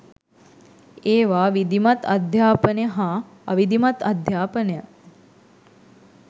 ඒවා විධිමත්අධ්‍යාපනය හා අවිධිමත් අධ්‍යාපනය